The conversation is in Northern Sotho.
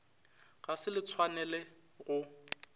ga se le tshwanele go